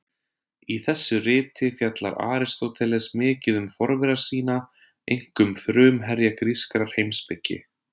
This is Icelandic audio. Í þessu riti fjallar Aristóteles mikið um forvera sína, einkum frumherja grískrar heimspeki.